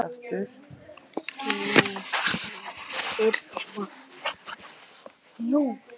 Geir og Irma.